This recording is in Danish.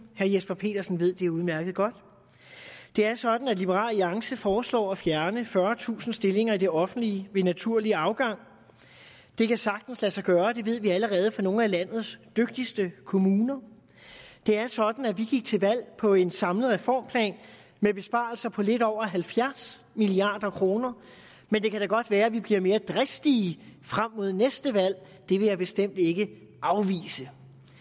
herre jesper petersen ved det udmærket det er sådan at liberal alliance foreslår at fjerne fyrretusind stillinger i det offentlige ved naturlig afgang det kan sagtens lade sig gøre det ved vi allerede fra nogle af landets dygtigste kommuner det er sådan at vi gik til valg på en samlet reformplan med besparelser på lidt over halvfjerds milliard kr men det kan da godt være at vi bliver mere dristige frem mod næste valg det vil jeg bestemt ikke afvise